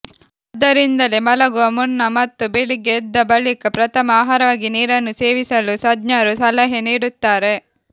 ಆದ್ದರಿಂದಲೇ ಮಲಗುವ ಮುನ್ನ ಮತ್ತು ಬೆಳಿಗ್ಗೆ ಎದ್ದ ಬಳಿಕ ಪ್ರಥಮ ಆಹಾರವಾಗಿ ನೀರನ್ನು ಸೇವಿಸಲು ತಜ್ಞರು ಸಲಹೆ ನೀಡುತ್ತಾರೆ